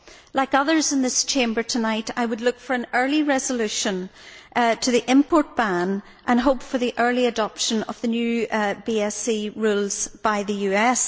Like others in this Chamber tonight, I would look for an early resolution to the import ban and hope for the early adoption of the new BSE rules by the US.